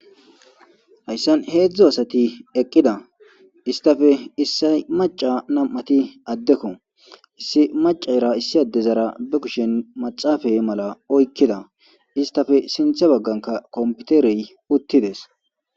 Haysan hedzu asati eqida issitape isoy mac'a nam'ati adeko issi mac'era issi adzara be kushen maxafe mala oykida istape sinta bagankka kompiterey utides.